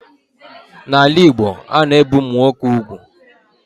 N'ala Igbo, a na-ebe ụmụnwoke ugwu.